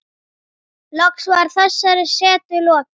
Loks var þessari setu lokið.